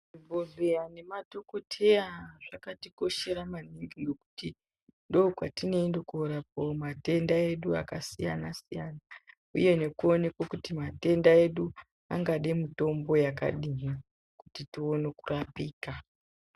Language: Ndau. Zvibhedhleya nemadhokodheya zvakatikoshera maningi ngekuti ndokwatinoenda korapiwa matenda edu akasiyana siyana uye nekuonekwa kuti matenda edu angade mitombo yakadini kuti tione kurapika.